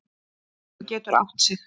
Hann getur átt sig.